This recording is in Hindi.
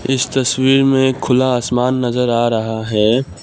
इस तस्वीर में खुला आसमान नजर आ रहा है।